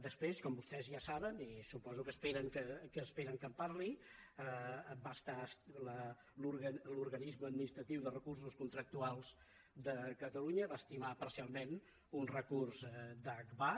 després com vostès ja saben i suposo que esperen que en parli l’organisme administratiu de recursos contractuals de catalunya va estimar parcialment un recurs d’agbar